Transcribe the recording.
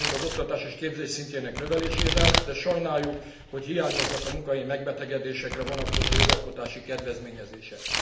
Egyetértünk az oktatás és képzés szintjének a növelésével, de sajnáljuk, hogy hiányoznak a munkahelyi megbetegedésekre vonatkozó jogalkotási kedvezményezések.